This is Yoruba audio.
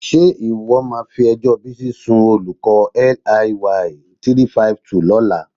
Ṣé o máa fi ẹjọ́ Bísí sun olùkọ́ LIY 352 lọ́la?